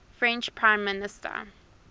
french prime minister